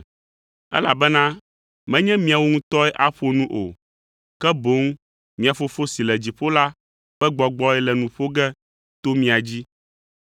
Elabena menye miawo ŋutɔe aƒo nu o, ke boŋ mia Fofo si le dziƒo la ƒe Gbɔgbɔe le nu ƒo ge to mia dzi.